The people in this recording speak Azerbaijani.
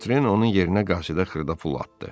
Votren onun yerinə qasidə xırda pul atdı.